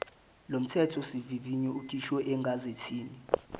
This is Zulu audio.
lomthethosivivinyo ukhishwe egazethini